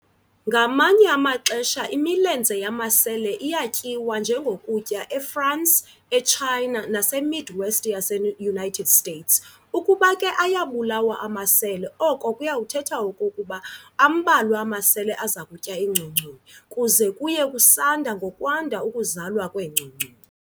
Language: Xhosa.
ngamanye amaxesha imilenze yamasele iyatyiwa njengokutya eFrance, eChina, naseMidwest yaseUnited States. Ukuba ke ayabulawa amasele, oko kuyakuthetha okokuba ambalwa amasele azakutya iingcongconi, kuze kuye kusanda ngokwanda ukuzalwa kweengcongconi.